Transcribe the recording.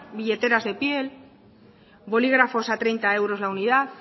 billeteras de piel bolígrafos a treinta euros la unidad